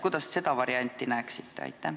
Kuidas te seda varianti näeksite?